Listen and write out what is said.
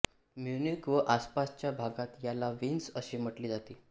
Munich व आसपासच्या भागात याला विन्स असे म्हटले जाते